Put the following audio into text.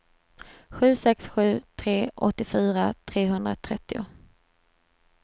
sju sex sju tre åttiofyra trehundratrettio